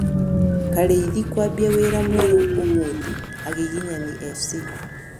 Karĩithĩ kwambĩa wĩra mwerũ ũmũthĩ, agĩgĩnyani FC